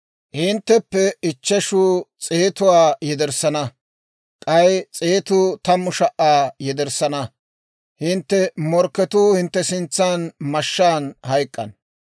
Hintteppe ichcheshu s'eetuwaa yederssana; k'ay s'eetuu tammu sha"aa yederssana. Hintte morkketuu hintte sintsan mashshaan hayk'k'ana.